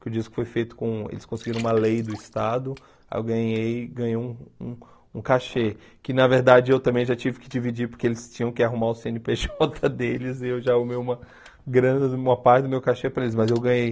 que o disco foi feito com, eles conseguiram uma lei do Estado, eu ganhei, ganhei um um cachê, que na verdade eu também já tive que dividir, porque eles tinham que arrumar o cê ene pê jota deles, e eu já arrumei uma grana uma parte do meu cachê para eles, mas eu ganhei.